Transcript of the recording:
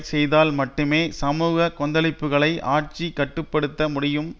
செய்தால் மட்டுமே சமூக கொந்தளிப்புக்களை ஆட்சி கட்டு படுத்த முடியும்